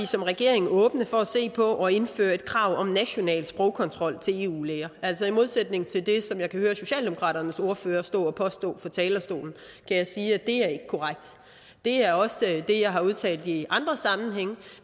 som regering er åben for at se på at indføre et krav om nationalt sprogkontrol til eu læger altså i modsætning til det som jeg kan høre socialdemokraternes ordfører stå og påstå fra talerstolen kan jeg sige at det ikke er korrekt det er også det jeg har udtalt i andre sammenhænge